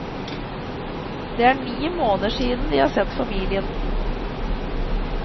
Det er ni måneder siden de har sett familien.